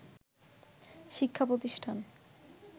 “ শিক্ষা প্রতিষ্ঠান